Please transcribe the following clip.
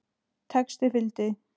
Texti fylgdi.